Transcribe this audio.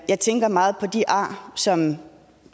jeg tænker meget på de ar som